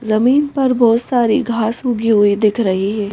जमीन पर बहोत सारी घास उगे हुए दिख रही है।